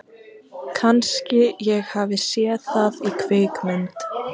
Kannski ég hafi séð það í kvikmynd.